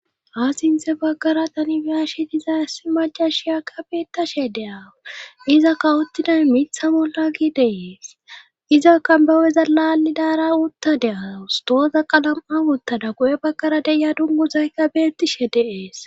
ha sinthe baggara tani be'ashi diza issi macashiyakka beettashe de'awu iza kawottiday mitha bolla gi dee'es iza kambaweza laallidara utta de'awus tooza qalam'a uttada guye baggara deya dunguzaykka beettishe dee'es